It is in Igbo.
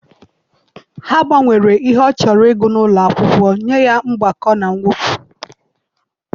Ha gbanwere ihe ọ chọrọ ịgụ n'ụlọ akwụkwọ nye ya mgbakọ na mwepụ.